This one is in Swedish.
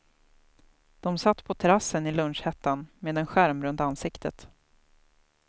De satt på terassen i lunchhettan, med en skärm runt ansiktet.